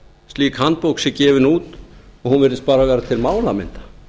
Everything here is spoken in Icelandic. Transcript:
slík handbók sé gefin út og hún virðist bara vera til málamynda